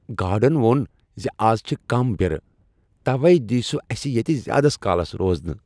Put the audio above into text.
Garden ووٚن ز از چھ کم برٕ۔ توے دیہ سہ اسہ ییٚتہ زیٛادٕ کالس روزنہٕ۔